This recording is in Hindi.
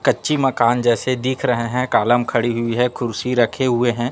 कच्ची मकान जैसे दिख रहे हैं कालम खड़ी हुई है खुर्सी रखे हुए हैं।